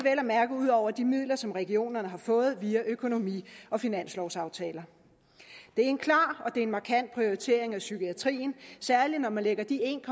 at mærke ud over de midler som regionerne har fået via økonomi og finanslovsaftaler det er en klar og markant prioritering af psykiatrien særlig når man lægger de en